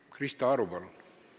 Krista Aru, palun!